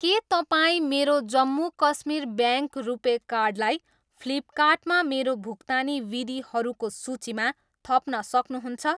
के तपाईँ मेरो जम्मू कश्मीर ब्याङ्क रुपे कार्डलाई फ्लिपकार्टमा मेरो भुक्तानी विधिहरूको सूचीमा थप्न सक्नुहुन्छ?